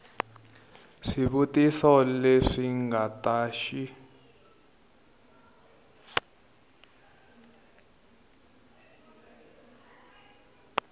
swivutiso leswi nga ta xi